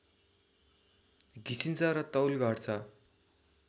घिसिन्छ र तौल घट्छ